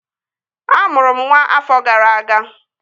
Amụrụ m nwa ọfọ gara aga